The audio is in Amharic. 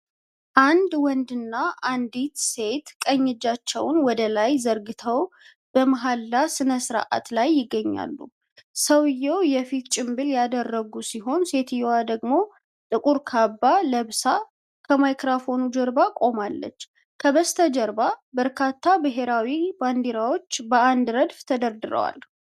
አንድ ወንድና አንዲት ሴት ቀኝ እጃቸውን ወደላይ ዘርግተው በመሃላ ሥነ ሥርዓት ላይ ይገኛሉ። ሰውየው የፊት ጭንብል ያደረጉ ሲሆን፣ ሴትየዋ ደግሞ ጥቁር ካባ ለብሳ ከማይክራፎን ጀርባ ቆማለች፤ ከበስተጀርባ በርካታ ብሔራዊ ባንዲራዎች በአንድ ረድፍ ተደርድረዋል።